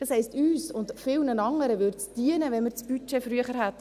Das heisst: Uns und vielen anderen würde es dienen, wenn wir das Budget früher hätten.